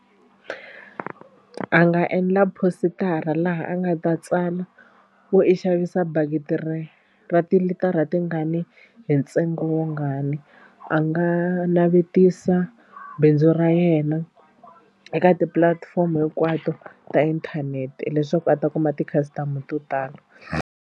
A nga endla positara laha a nga ta tsala ku i xavisa bakiti ri ra tilitara tingani hi ntsengo wungani. A nga navetisa bindzu ra yena eka tipulatifomo hinkwato ta inthanete leswaku a ta kuma ti-customer to tala.